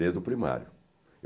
Desde o primário.